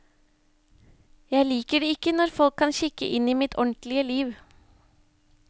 Jeg liker det ikke når folk kan kikke inn i mitt ordentlige liv.